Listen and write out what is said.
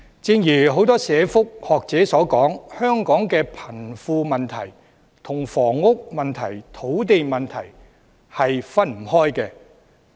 正如很多社福學者所說，香港的貧富問題與房屋問題及土地問題分不開。